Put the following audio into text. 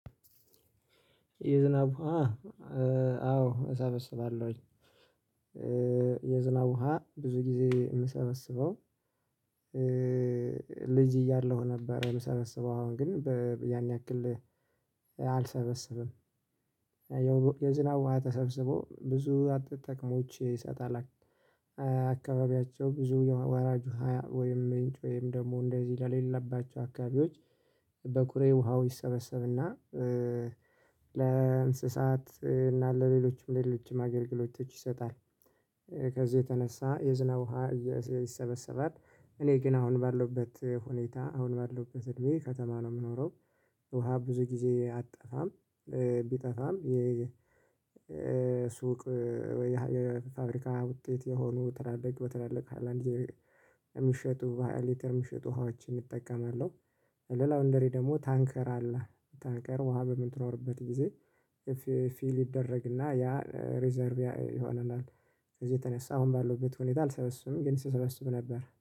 የዝናብ ውሃ አዎ እሰበስባለሁኝ። የዝናብ ውሃ ብዙ ጊዜ የምሰበስበው። ልጅ እያለሁ ነበር የምሰበስበው አሁን ግን ያን ያክል አልሰበሰብም። የዝናብ ውሃ ተሰብስቦ ብዙ ጥቅሞች ይሰጣል። አካባቢያቸው ብዙ ወራጁ ውሃ ወይም ምንጭ ወይም ደግሞ እንደዚህ ለሌለባቸው አካባቢዎች። በቁሬ ውሃው ይሰበሰብና ለእንስሳት እና ለሌሎችም ሌሎችም አገልግሎቶች ይሰጣል። ከዚህ የተነሳ የዝናብ ውሃ ይሰበሰባል። እኔ ግን አሁን ባለውበት ሁኔታ አሁን ባለውበት እድሜ ከተማ ነው የምኖረው። ውሃ ብዙ ጊዜ አጠፋም። ቢጠፋም የ ሱቅ ወይ የፋብሪካ ውጤት የሆኑ በትላልቅ ሃይላንድ የሚሸጡ በሃያ የሚሸጡ ሀዋችን እጠቀማለሁ። ለላውንደሪ ደግሞ ታንከር አለ። ታንከር ውሃ በምትኖርበት ጊዜ ፊል ይደረግና ያ ሪዘርቭ ይሆናል። ከዚህ የተነሳ አሁን ባለውበት ሁኔታ አልሰበስቡም ግን ስሰበስቡ ነበር።